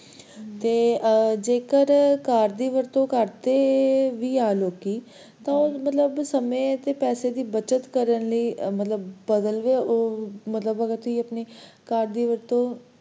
ਤੇ ਜੇ car ਦੀ ਵਰਤੋਂ ਕਰਦੇ ਵੀ ਆ ਲੋਕੀ ਤੇ ਉਹ ਸਮੇ ਤੇ ਪੈਸੇ ਦੀ ਬੱਚਤ ਕਰਨ ਲਈ, ਮਤਲਬ ਬਦਲਦੇ, ਮਤਲਬ ਕੀ ਆਪਣੀ car ਦੀ ਵਰਤੋਂ,